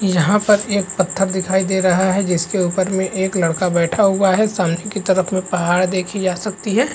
यहाँ पर एक पत्थर दिखाई दे रहा है जिसके ऊपर में एक लड़का बैठा हुआ है सामने की तरफ में पहाड़ देखी जा सकती है।